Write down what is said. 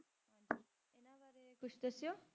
ਇਹਨਾਂ ਬਾਰੇ ਕੁਛ ਦੱਸਿਓ।